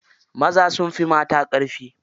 Maza sun fi mata ƙarfi.